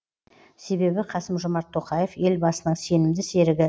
себебі қасым жомарт тоқаев елбасының сенімді серігі